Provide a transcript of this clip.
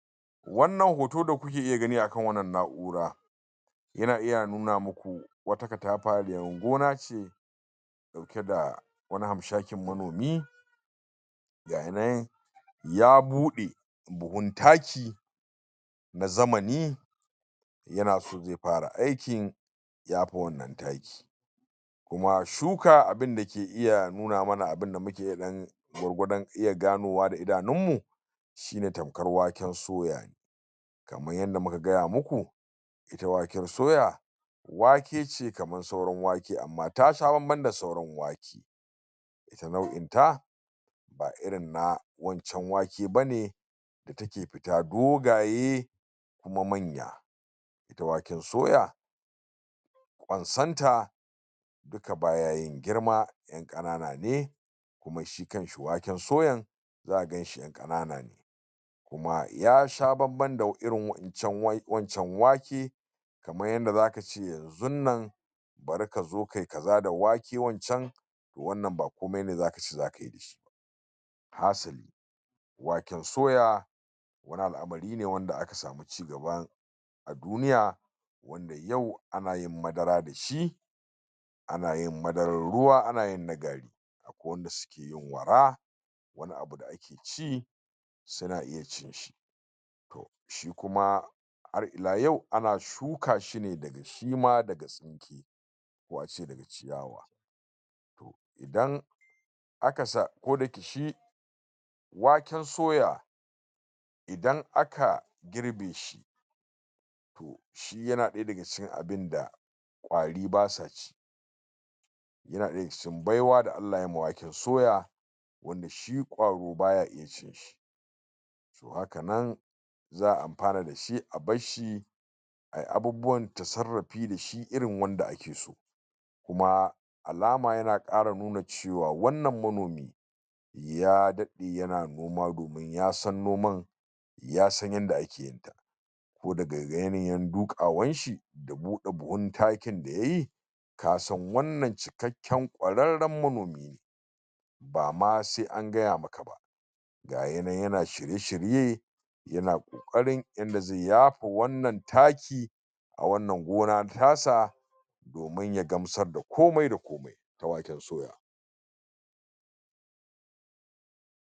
wannan hoto da kuke gani akan wannan na'ura yana iya nuna maku wata katafariyar gona ce ita da wani hanshakin manomi gaya nan ya bude buhun taki na zamani yana so zai fara aikin yafa wannan taki kuma shuka abinda ke iya nuna mana abinda muke iya gani gwargwadon iya ganowa da idanun mu shine tamkar waken suya kamar yanda muka gaya maku waken soya wake ce kamar sauran wake amma tasha banban da sauran wake ita nau'inta ba irin na wancan waken bane itake fita dogaye kuma manya ita waken soya kwansonta baya yin girma ita yan kanana ne kuma shi kanshi waken soyan zaka ganshi yan kanana ne kuma ya sha banban da irin wancan waken kamar yanda zaka ce yanzunnan bari kazo kayi kaza da wake wancan wannan ba komai ne zakace zakayi da shi hasali waken soya wani alamari ne wanda aka samu cigaba duniya yau anayin madara dashi anayin madarar ruwa anayinna gari akwai wadanda sukeyin wara wani abu da ake ci suna iya cin shi shi kuma har ila yau ana shukashi ne daga shima wake daga ciyawa to idan aka sa koda yake shi waken soya idan aka girbe shi yana daya daga cikin abinda kwari basa ci yana daya daga cikin baiwa da allah yayi ma waken suya wanda shi kwaro baya iya cin shi haka nan za'a amfana dashi a barshi ayi abubuwan tasarrafi dashi irin wanda ake so kuma alama yana kara nuna cewa wannan manomi ya dade yana noma domin ya san noman ya san yanda akeyin ta ko daga yanayin dukawan shi da bude buhun takin da yayi kasan wannan cikakken kwararren manomi ne bama sai an gaya maka ba gaya nan yana shirye shirye yana kokarin yanda zai yaba wannan taki a wannan gona tasa domin ya gamsar da komai da komai na waken soya